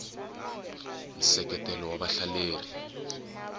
nseketelo wa vahleleri